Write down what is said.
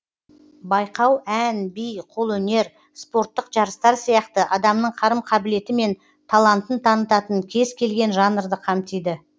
байқау ән би қолөнер спорттық жарыстар сияқты адамның қарым қабілеті мен талантын танытатын кез келген жанрды қамтиды